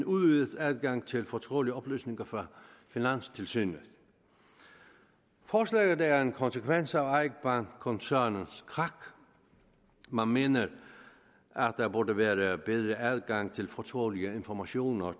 udvidet adgang til fortrolige oplysninger fra finanstilsynet forslaget er en konsekvens af eik bank koncernens krak man mener at der burde være være bedre adgang til fortrolige informationer